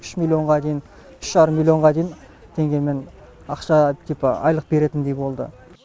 үш миллионға дейін үш жарым миллионға дейін теңгемен ақша типі айлық беретіндей болды